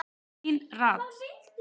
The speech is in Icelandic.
Sean Rad